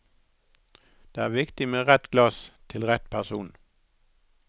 Det er viktig med rett glass til rett person.